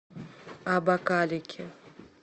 абакалики